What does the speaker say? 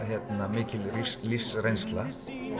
mikil lífsreynsla